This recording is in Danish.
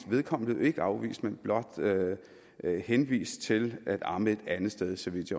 vedkommende ikke afvist men blot henvist til at amme et andet sted så vidt